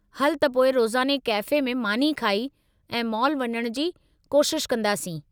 हलु त पोइ रोज़ाने कैफ़े में मानी खाई, ऐं मॉल वञणु जी कोशिश कंदासीं।